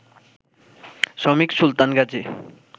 শ্রমিক সুলতান গাজী